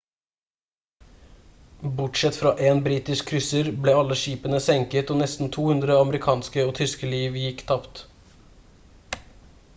bortsett fra én britisk krysser ble alle skipene senket og nesten 200 amerikanske og tyske liv gikk tapt